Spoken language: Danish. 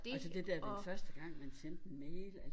Og så dét der med første gang man sendte en mail at